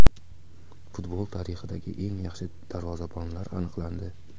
Futbol tarixidagi eng yaxshi darvozabonlar aniqlandi.